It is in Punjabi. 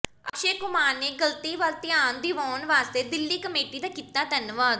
ਅਕਸ਼ੈ ਕੁਮਾਰ ਨੇ ਗਲਤੀ ਵੱਲ ਧਿਆਨ ਦਿਵਾਉਣ ਵਾਸਤੇ ਦਿੱਲੀ ਕਮੇਟੀ ਦਾ ਕੀਤਾ ਧੰਨਵਾਦ